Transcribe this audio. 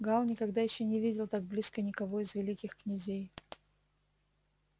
гаал никогда ещё не видел так близко никого из великих князей